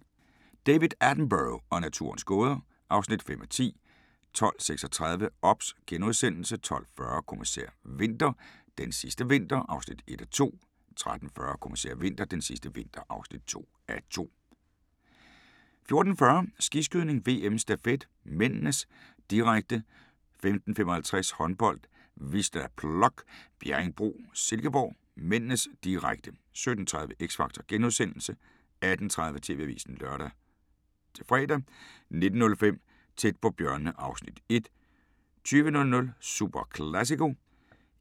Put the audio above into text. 12:15: David Attenborough og naturens gåder (5:10) 12:36: OBS * 12:40: Kommissær Winter: Den sidste vinter (1:2) 13:40: Kommissær Winter: Den sidste vinter (2:2) 14:40: Skiskydning: VM - stafet (m), direkte 15:55: Håndbold: Wisla Plock - Bjerringbro-Silkeborg (m), direkte 17:30: X Factor * 18:30: TV-avisen (lør-fre) 19:05: Tæt på bjørnene (Afs. 1) 20:00: Superclásico